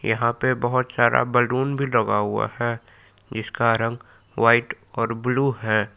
यहां पे बहोत सारा बैलून भी लगा हुआ है जीसका रंग व्हाइट और ब्लू है।